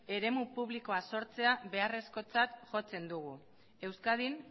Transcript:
eremu publikoa sortzea beharrezkotzat jotzen dugu euskadin